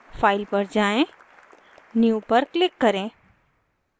file पर जाएँ new पर click करें